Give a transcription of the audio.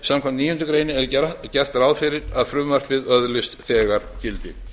samkvæmt níundu grein er gert ráð fyrir að frumvarpið öðlist þegar gildi